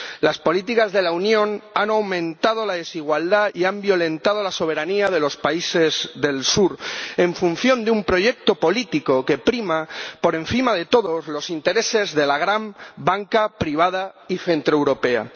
Las políticas de la Unión han aumentado la desigualdad y han violentado la soberanía de los países del Sur, en función de un proyecto político que prima, por encima de todo, los intereses de la gran banca privada y centroeuropea.